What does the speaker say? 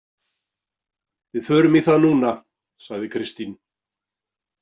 Við förum í það núna, sagði Kristín.